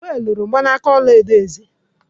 Wal loro mgbanaka ọla edo eze